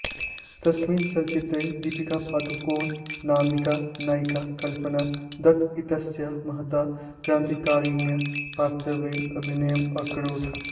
तस्मिन् चलच्चित्रे दीपिका पदुकोण नामिका नायिका कल्पना दत्त इत्यस्याः महत्याः क्रान्तिकारिण्याः पात्रत्वेन अभिनयम् अकरोत्